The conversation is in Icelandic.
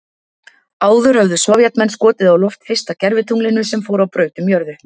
Áður höfðu Sovétmenn skotið á loft fyrsta gervitunglinu sem fór á braut um jörðu.